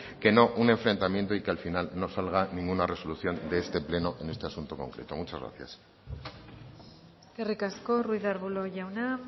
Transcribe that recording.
que no un enfrentamiento y que al final no salga ninguna resolución de este pleno en este asunto concreto muchas gracias eskerrik asko ruiz de arbulo jauna